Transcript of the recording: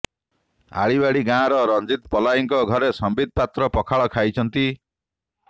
ଆଳିବାଡ଼ି ଗାଁର ରଞ୍ଜିତ ପଲାଇଙ୍କ ଘରେ ସମ୍ବିତ ପାତ୍ର ପଖାଳ ଖାଇଛନ୍ତି